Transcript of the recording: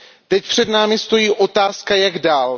Teď před námi stojí otázka Jak dál?